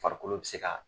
Farikolo bɛ se ka